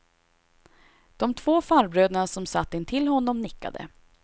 De två farbröderna som satt intill honom nickade.